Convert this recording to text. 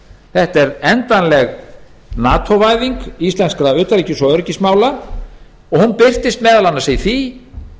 þetta er endanleg nato væðing íslenskra utanríkis og öryggismála og hún birtist meðal annars í því